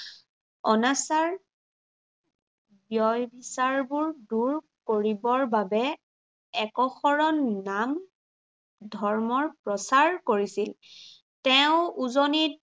অনাচাৰ ব্য়য় চাৰবোৰ দূৰ কৰিবৰ বাবে একশৰণ নাম ধৰ্মৰ প্ৰচাৰ কৰিছিল। তেওঁ উজনিত